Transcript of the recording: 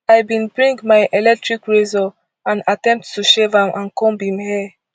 i bin bring my electric razor and attempt to shave am and comb im hair